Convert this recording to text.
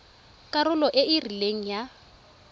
karolo e e rileng ya